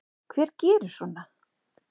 Hver gerir svona?